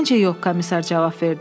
Məncə yox, komissar cavab verdi.